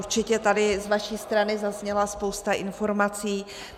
Určitě tady z vaší strany zazněla spousta informací.